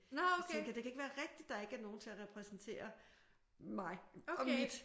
Så tænkte jeg det kan ikke være rigtigt at der ikke er nogen til at repræsentere mig og mit